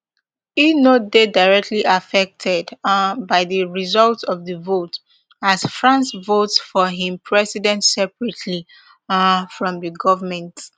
e no dey directly affected um by di result of di vote as france votes for im president separately um from di govment